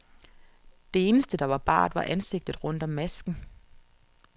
Det eneste, der var bart, var ansigtet rundt om masken.